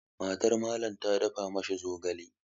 MatarMallam ta dafa ma shi zogale.